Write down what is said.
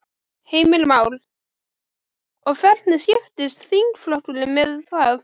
Heimir Már: Og hvernig skiptist þingflokkurinn með það?